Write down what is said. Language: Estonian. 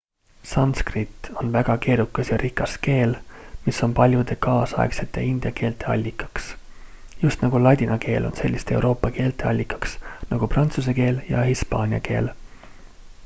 sanskrit on väga keerukas ja rikas keel mis on paljude kaasaegsete india keelte allikaks just nagu ladina keel on selliste euroopa keelte allikaks nagu prantsuse keel ja hispaania keel